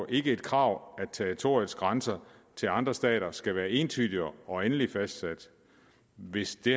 ikke et krav at territoriets grænser til andre stater skal være entydige og endeligt fastsat hvis det